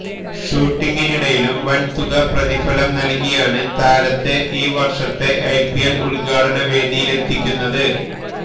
ഷൂട്ടിങ്ങിനിടയിലും വന് തുക പ്രതിഫലം നല്കിയാണ് താരത്തെ ഈ വര്ഷത്തെ ഐപിഎല് ഉദ്ഘാടന വേദിയിലെത്തിക്കുന്നത്